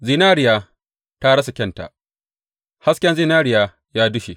Zinariya ta rasa kyanta, hasken zinariya ya dushe!